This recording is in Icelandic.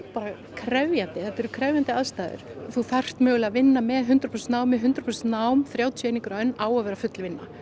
krefjandi þetta eru krefjandi aðstæður þú þarft mögulega að vinna með hundrað prósent námi hundrað prósent nám á að vera full vinna